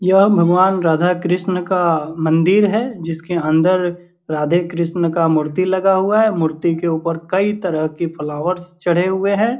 यह भगवान राधा कृष्ण का मंदिर है जिसके अंदर राधे कृष्ण का मूर्ति लगा हुआ है। मूर्ति के ऊपर कई तरह के फ्लावर्स चढ़े हुए हैं।